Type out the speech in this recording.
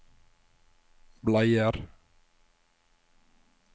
bleier